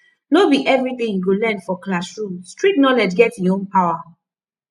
no be everything you go learn for classroom street knowledge get e own power